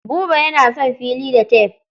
Buba yana auna fili da tef.